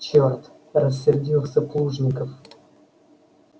чёрт рассердился плужников